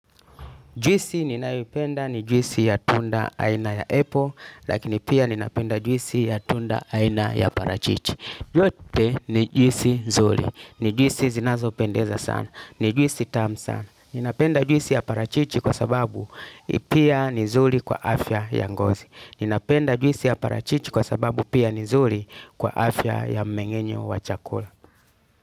Juisi ninayoipenda ni juisi ya tunda aina ya apple, lakini pia ninapenda juisi ya tunda aina ya parachichi. Yote ni juisi zuri. Ni jwisi zinazo pendeza sana. Ni juisi tamu sana. Ninapenda juisi ya parachichi kwa sababu pia ni nzuri kwa afya ya ngozi. Ninapenda juisi ya parachichi kwa sababu pia ni nzuri kwa afya ya mmengenyo wa chakula.